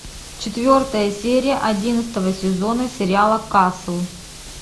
четвертая серия одиннадцатого сезона сериала касл